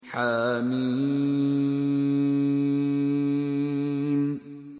حم